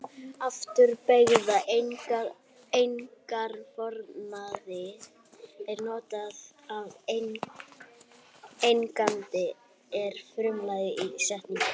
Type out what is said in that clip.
Afturbeygða eignarfornafnið er notað ef eigandinn er frumlagið í setningu.